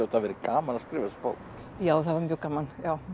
hafa verið gaman að skrifa þessa bók já það var mjög gaman